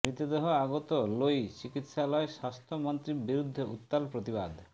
মৃতদেহ আগত লৈ চিকিৎসালয়ত স্বাস্থ্য মন্ত্ৰীৰ বিৰুদ্ধে উত্তাল প্ৰতিবাদ